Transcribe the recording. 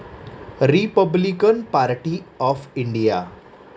Republican Party of India